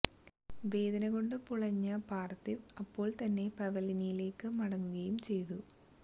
വേദന കൊണ്ട് പുളഞ്ഞ പാര്ഥിവ് അപ്പോള് തന്നെ പവലിയനിലേക്ക് മടങ്ങുകയും ചെയ്തു